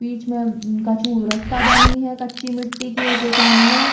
बीच में उम्म कछु रस्ता बनी है कच्ची मिट्टी के ओके सामने।